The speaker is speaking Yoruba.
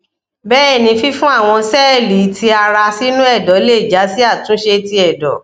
bẹẹni fifun awọn sẹẹli ti ara sinu ẹdọ le ja si atunse ti ẹdọ